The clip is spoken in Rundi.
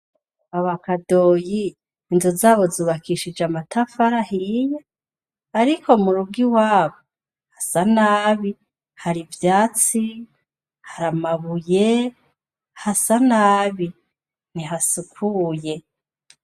Kwaba Kadoyi inzu zaho zubakishije amatafari ahiye, ariko m'urugo iwabo hasa nabi, har'ivyatsi, har'amabuye, hasa nabi, ntihasukuye.